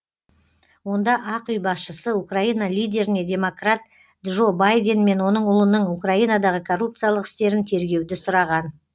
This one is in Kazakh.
онда ақ үй басшысы украина лидеріне демократ джо байден мен оның ұлының украинадағы коррупциялық істерін тергеуді сұраған